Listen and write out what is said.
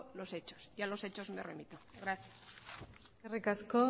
lo hechos y yo a los hechos me remito gracias eskerrik asko